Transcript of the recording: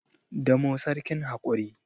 damo sarkin hakuri